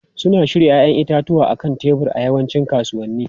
Suna shirya 'ya'yan itatuwa a kan tebur a yawancin kasuwanni.